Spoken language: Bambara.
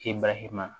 K'i bahima